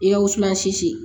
I ka wusulansi